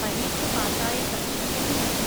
പരീക്ഷ പാസ്സായ സർട്ടിഫിക്കറ്റും വേണം.